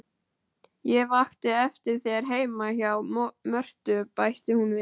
Ég vakti eftir þér heima hjá Mörtu, bætti hún við.